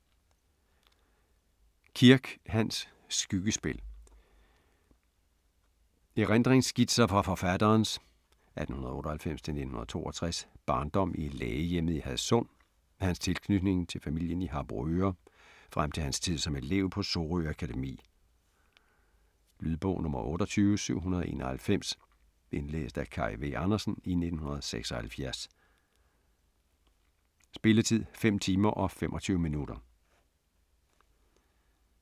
Kirk, Hans: Skyggespil Erindringsskitser fra forfatterens (1898-1962) barndom i lægehjemmet i Hadsund, hans tilknytning til familien i Harboøre frem til hans tid som elev på Sorø Akademi. Lydbog 28791 Indlæst af Kaj V. Andersen, 1976. Spilletid: 5 timer, 25 minutter.